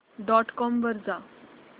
dot com वर जा